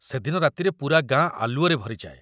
ସେଦିନ ରାତିରେ ପୂରା ଗାଁ ଆଲୁଅରେ ଭରି ଯାଏ ।